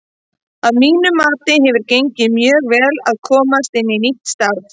Að mínu mati hefur gengið mjög vel að komast inn í nýtt starf.